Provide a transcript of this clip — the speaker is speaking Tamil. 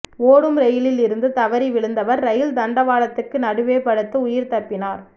ஓடும் ரெயிலில் இருந்து தவறி விழுந்தவர் ரெயில் தண்டவாளத்துக்கு நடுவே படுத்து உயிர்தப்பினார்